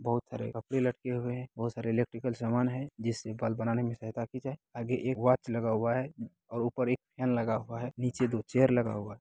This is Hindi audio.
बहोत सारे कपड़े लटके हुए हैं बहोत सारे इलेक्ट्रिकल सामान है जिससे बल्ब बनाने में सहायता की जाए आगे एक वॉच लगा हुआ है और ऊपर एक फैन लगा हुआ है नीचे दो चेयर लगा हुआ है।